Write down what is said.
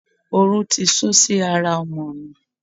Oru ti sú si ara ọmọ mi.